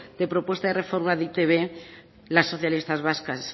de propuesta de reforma de e i te be las socialistas vascas